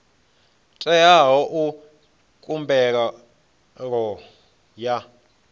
teaho u ita khumbelo ya